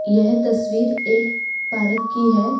यह तस्वीर एक पारक की है।